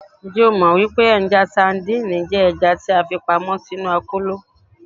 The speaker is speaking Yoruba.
Njẹ o mọ pe awọn sadìnìnnì jẹ ẹja ti a fipamọ sinu akolo?